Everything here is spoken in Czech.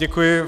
Děkuji.